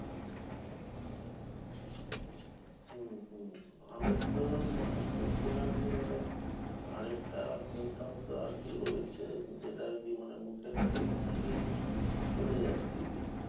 আমি তো শুনছিলাম যে মানে আরেকটা symptom আর তো রয়েছে যেটা জীবনের মুখের taste নাকি চলে যাচ্ছে গে